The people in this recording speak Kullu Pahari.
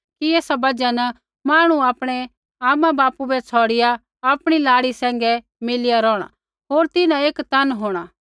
एथा बजहा न मांहणु आपणै आमापिता बै छ़ौड़िआ आपणी लाड़ी सैंघै मिलिया रोहणा होर तिन्हां एक तन होंणा